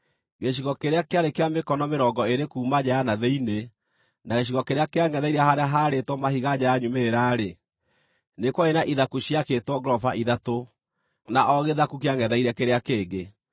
Gĩcigo kĩrĩa kĩarĩ kĩa mĩkono mĩrongo ĩĩrĩ kuuma nja ya na thĩinĩ, na gĩcigo kĩrĩa kĩangʼetheire harĩa haarĩtwo mahiga nja ya nyumĩrĩra-rĩ, nĩ kwarĩ na ithaku ciakĩtwo ngoroba ithatũ, na o gĩthaku kĩangʼetheire kĩrĩa kĩngĩ.